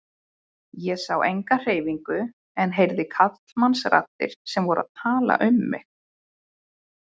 Ég sá enga hreyfingu en heyrði karlmannsraddir sem voru að tala um mig.